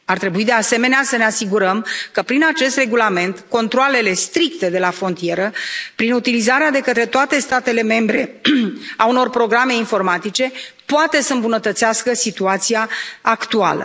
Ar trebui, de asemenea, să ne asigurăm că prin acest regulament controalele stricte de la frontieră, prin utilizarea de către toate statele membre a unor programe informatice, pot să îmbunătățească situația actuală.